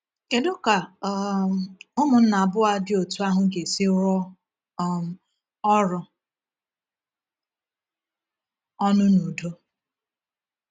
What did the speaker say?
Kedu ka um ụmụnna abụọ dị otú ahụ ga-esi rụọ um ọrụ ọnụ n’udo?